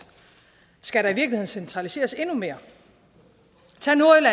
skal der i virkeligheden centraliseres endnu mere